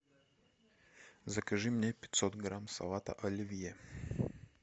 закажи мне пятьсот грамм салата оливье